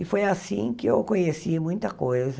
E foi assim que eu conheci muita coisa.